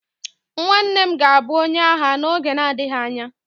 nwanne m ga-abu onye agha n'oge na-adịghị anya